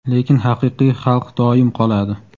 lekin haqiqiy xalq doim qoladi.